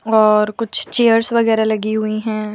और कुछ चेयर्स वगैरह लगी हुईं हैं।